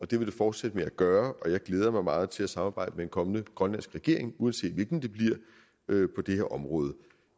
det vil det fortsætte med at gøre og jeg glæder mig meget til at samarbejde med en kommende grønlandsk regering uanset hvilken det bliver på det her område